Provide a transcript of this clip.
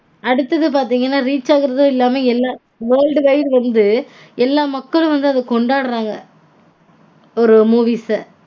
அடுத்தது பாத்தீங்கனா reach ஆகறதுமில்லாம world wide வந்து எல்லா மக்களும் அத கொண்டாடறாங்க. ஒரு movies -அ